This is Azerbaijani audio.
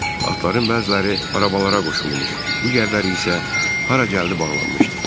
Atların bəziləri arabalara qoşulmuş, digərləri isə hara gəldi bağlanmışdı.